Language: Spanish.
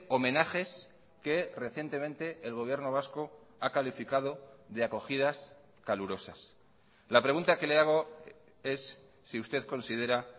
homenajes que recientemente el gobierno vasco ha calificado de acogidas calurosas la pregunta que le hago es si usted considera